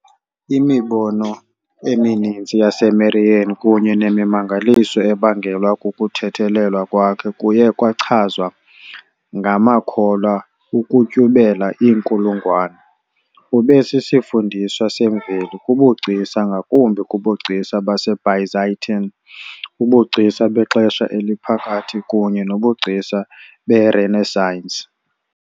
Imibono emininzi yaseMarian kunye nemimangaliso ebangelwa kukuthethelelwa kwakhe kuye kwachazwa ngamakholwa ukutyhubela iinkulungwane. Ube sisifundo semveli kubugcisa, ngakumbi kubugcisa baseByzantine, ubugcisa bexesha eliphakathi kunye nobugcisa beRenaissance .